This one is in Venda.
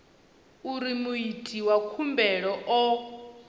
uri muiti wa khumbelo o